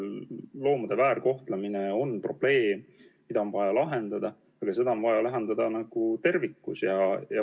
Loomade väärkohtlemine on probleem, mis on vaja lahendada, aga see on vaja lahendada tervikuna.